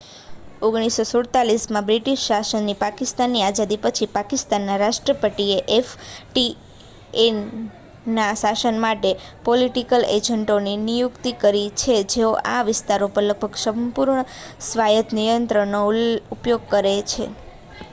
"1947માં British શાસનથી પાકિસ્તાનની આઝાદી પછી પાકિસ્તાનના રાષ્ટ્રપતિએ એફ.ટી.એ.ના શાસન માટે "પોલિટિકલ એજન્ટો" ની નિયુક્તિ કરી છે જેઓ આ વિસ્તારો પર લગભગ સંપૂર્ણ સ્વાયત નિયંત્રણનો ઉપયોગ કરે છે.